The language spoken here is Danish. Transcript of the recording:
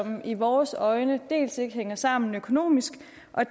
i vores øjne dels ikke hænger sammen økonomisk